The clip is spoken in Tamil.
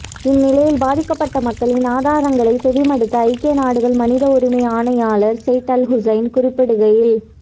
இந்நிலையில் பாதிக்கப்பட்ட மக்களின் ஆதங்கங்களை செவிமடுத்த ஐக்கிய நாடுகள் மனித உரிமை ஆணையாளர் செய்ட் அல் ஹுசேன் குறிப்பிடுகையில்